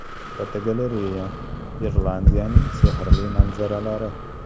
Fotogalereya: Irlandiyaning sehrli manzaralari.